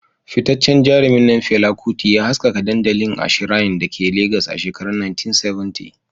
Fitaccen jarumin nan Fela Kuti, ya haskaka dandalin a shrine da ke Legas a shekarun 1970.